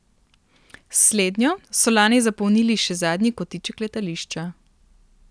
S slednjo so lani zapolnili še zadnji kotiček letališča.